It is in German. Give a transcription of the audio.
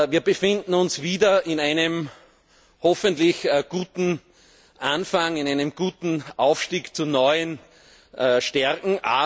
Wir befinden uns wieder in einem hoffentlich guten Anfang, in einem guten Aufstieg zu neuen Stärken.